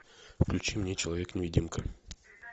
включи мне человек невидимка